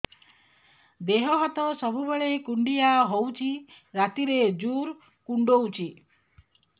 ଦେହ ହାତ ସବୁବେଳେ କୁଣ୍ଡିଆ ହଉଚି ରାତିରେ ଜୁର୍ କୁଣ୍ଡଉଚି